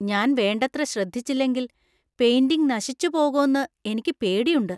ഞാൻ വേണ്ടത്ര ശ്രദ്ധിച്ചില്ലെങ്കിൽ പെയിന്‍റിംഗ് നശിച്ചു പോകോന്ന് എനിയ്ക്ക് പേടിയുണ്ട്.